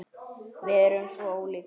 Við erum svo ólík.